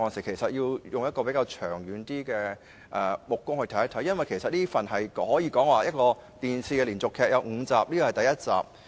同事應以較長遠的眼光來閱讀預算案，因為這可以說是一齣電視連續劇，共有5集，這是第一集。